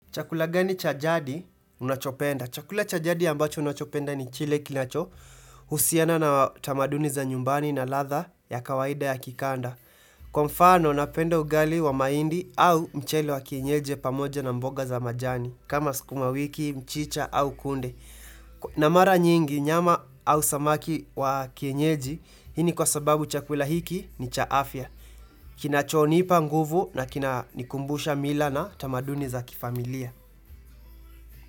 Chakula gani cha jadi unachopenda? Chakula cha jadi ambacho ninachopenda ni kile kinachohusiana na tamaduni za nyumbani na ladha ya kawaida ya kikanda. Kwa mfano, napenda ugali wa mahindi au mchele wa kienyeji pamoja na mboga za majani kama sukuma wiki, mchicha au kunde. Na mara nyingi, nyama au samaki wa kienyeji, hii ni kwa sababu chakula hiki ni cha afya. Kinachonipa nguvu na kinanikumbusha mila na tamaduni za kifamilia.